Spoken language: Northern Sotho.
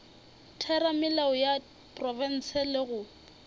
theramelao ya profense le go